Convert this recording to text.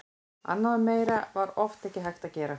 Annað og meira var oft ekki hægt að gera.